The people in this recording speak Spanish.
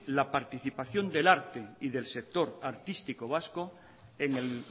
la participación del arte y del sector artístico vasco en el